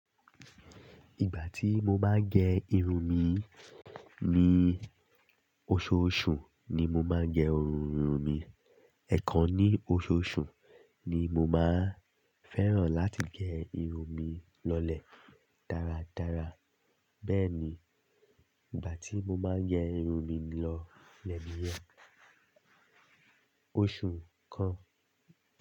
Ìgbà tí mo máa ń gẹ irun mi, ní oṣooṣù ni mo máa ń gẹ irun mi. Ẹ̀ẹ̀kan ní oṣooṣù ni mo máa ń fẹ́ràn láti gẹ irun mi lọlẹ̀ dáradára. Bẹ́ẹ̀ ni, ìgbà tí mo máa ń gẹ irun mi lọ lẹ́ ni yen, oṣù kan.